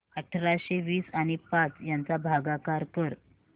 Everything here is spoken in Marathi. अठराशे वीस आणि पाच यांचा भागाकार कर